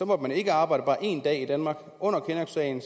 måtte man ikke arbejde bare en dag i danmark under kinnocksagen